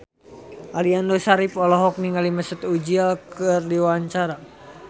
Aliando Syarif olohok ningali Mesut Ozil keur diwawancara